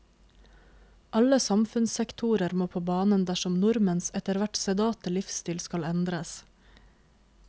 Alle samfunnssektorer må på banen dersom nordmenns etterhvert sedate livsstil skal endres.